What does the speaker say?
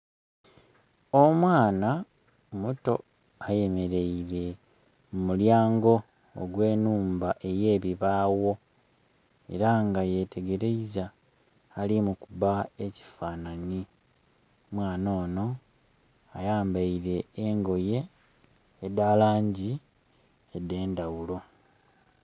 Omwaana muto ayemereire mu mulyango ogwe nhumba eyebibawo era nga yetegereiza ali mukuba ekifananye. Omwaana ono ayambeire engoye edha langi edhe ndhaghulo.